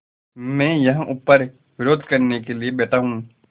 मैं यहाँ ऊपर विरोध करने के लिए बैठा हूँ